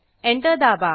enter दाबा